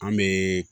An bɛ